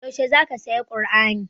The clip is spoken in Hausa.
Yaushe za ka saya kur'ani?